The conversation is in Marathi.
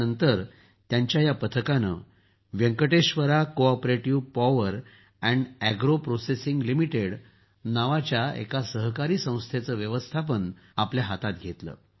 त्यानंतर त्यांच्या या पथकानं Venkateshwara cooperative power and agro processing limited नावाची एक सहकारी संस्थेचं व्यवस्थापन आपल्या हातात घेतलं